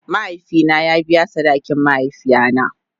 Mahaifi na ya biya sadakin mahaifiya na.